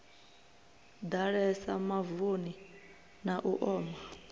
ḓalesa mavuni na u oma